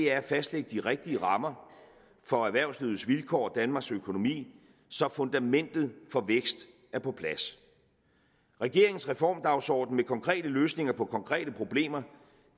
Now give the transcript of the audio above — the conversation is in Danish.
er at fastlægge de rigtige rammer for erhvervslivets vilkår og danmarks økonomi så fundamentet for vækst er på plads regeringens reformdagsorden med konkrete løsninger på konkrete problemer